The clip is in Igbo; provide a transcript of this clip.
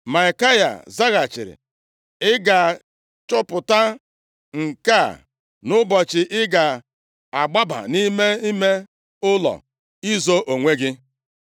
Maikaya zaghachiri, “Ị ga-achọpụta nke a nʼụbọchị ị ga-agbaba nʼime ime ụlọ izo onwe gị.”